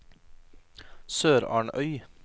SørarnØy